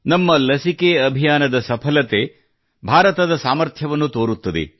ನಮ್ಮ ಲಸಿಕೆ ಅಭಿಯಾನದ ಸಫಲತೆ ಭಾರತದ ಸಾಮರ್ಥ್ಯವನ್ನು ತೋರುತ್ತದೆ